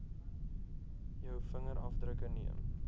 jou vingerafdrukke neem